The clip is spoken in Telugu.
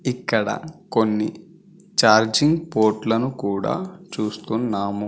ఇక్కడ కొన్ని ఛార్జింగ్ పోర్ట్లను కూడా చూస్తున్నాము.